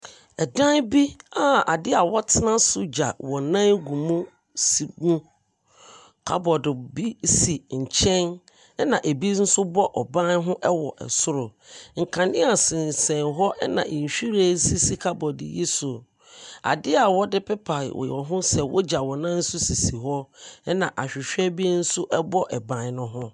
Dan bi a adeɛ wɔtena gya wɔn nan gu mu si wɔ, cupboard bi w asi nkyɛn. Ɛna ebi nsoso ɛbɔ ban ho ɛwɔ soro. Nkanea sensɛn hɔ, ɛna nhyiren asisi cupboard yi so. Ade a wɔde pepa wɔn ho sɛ wogyaw wɔn nan so sisi hɔ. Ɛna ahwehwɛ bi nso ɛbɔ ban ne ho.